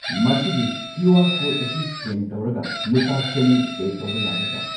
ꯃꯁꯤꯒꯤ Q R code ꯑꯁꯤ scan ꯇꯧꯔꯒ ꯂꯨꯄꯥ ꯆꯅꯤ ꯄꯦ ꯇꯧꯕ ꯌꯥꯒꯗ꯭ꯔ꯫